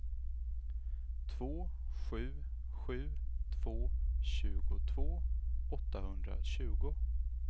två sju sju två tjugotvå åttahundratjugo